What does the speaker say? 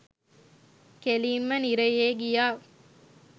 කෙලින්ම නිරයේ ගියා